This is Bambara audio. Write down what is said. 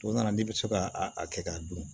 O nana n'i bɛ se ka a kɛ k'a dun